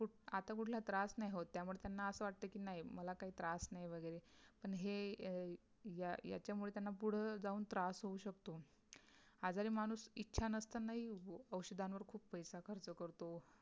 आत कुठला त्रास नाही होत त्यामुळे त्यांना असा वाटत कि नाही मला काही त्रास नाही वगैरे पण हे या याच्यामुळे त्यांना पुढे जाऊन त्रास होऊ शकतो. आजारी माणूस इच्छा नसतानाही औषधांवर खूप पैसा खर्च करतो